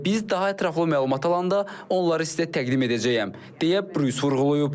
Və biz daha ətraflı məlumat alanda onları sizə təqdim edəcəyəm, deyə Brus vurğulayıb.